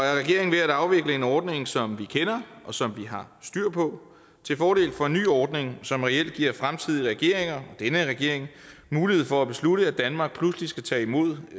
regeringen ved at afvikle en ordning som vi kender og som vi har styr på til fordel for en ny ordning som reelt giver fremtidige regeringer og denne regering mulighed for at beslutte at danmark pludselig skal tage imod